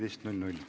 Aitäh kõigile!